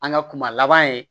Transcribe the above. An ka kuma laban ye